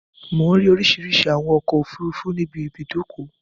Mò ń rí oríṣìíríṣìí àwọn ọkọ̀-òfurufú níbi ibùdókọ.